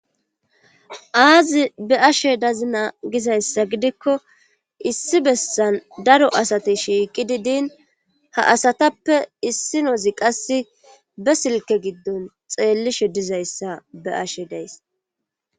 Aazi be'ashe dazina gizayssa gidikko issi bessan daro asati shiiqi di diin ha asatappe issinozi qass be silke giddon xeellishe dizayssa be ashe days.